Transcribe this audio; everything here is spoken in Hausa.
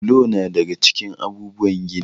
Bulo na daga cikin abubuwan gini.